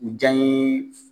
U janye